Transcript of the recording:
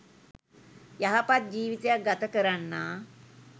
යහපත් ජීවිතයක් ගත කරන්නා